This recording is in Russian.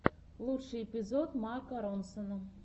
лучший эпизод марка ронсона